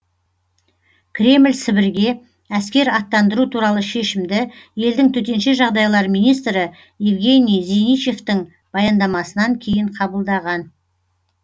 кремль сібірге әскер аттандыру туралы шешімді елдің төтенше жағдайлар министрі евгений зиничевтің баяндамасынан кейін қабылдаған